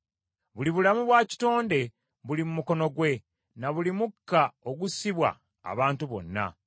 Buli bulamu bwa kitonde buli mu mukono gwe, na buli mukka ogussibwa abantu bonna.